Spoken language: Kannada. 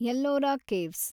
ಎಲ್ಲೋರ ಕೇವ್ಸ್